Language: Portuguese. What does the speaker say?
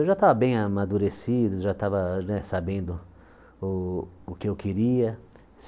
Eu já estava bem amadurecido, já estava né sabendo o o que eu queria.